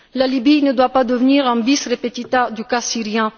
La Libye ne doit pas devenir un bis repetita du cas syrien.